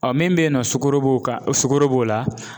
min be yen nɔ sukoro b'o kan sukoro b'o la